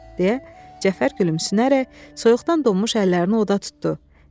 deyə Cəfər gülümsünərək soyuqdan donmuş əllərini oda tutdu.